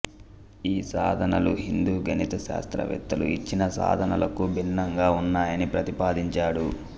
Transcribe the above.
ఈ సాధనలు హిందూ గణిత శాస్త్రవేత్తలు యిచ్చిన సాధనలకు భిన్నంగా ఉన్నాయని ప్రతిపాదించాడు